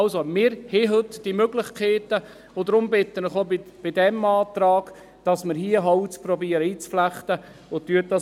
Also: Wir haben heute diese Möglichkeiten, und deshalb bitte ich Sie auch bei diesem Antrag, dass wir hier Holz einzuflechten versuchen.